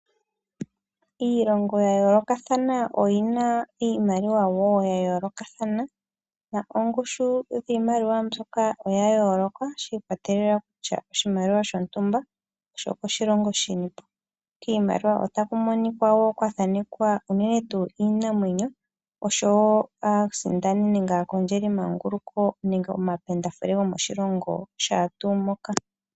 Iilongo ya yoolokathana oyina wo iimaliwa ya yoolokathana noongushu dhiimaliwa mbyoka odha yooloka shi ikwatelela kutya oshimaliwa shontumba osho shilongo shini po kiimaliwa otaku monika wo kwathanekwa iimamwenyo oshowo aasindani nenge aakondjeli manguluko nenge omapendafule gomaoshilongo shaatu moka.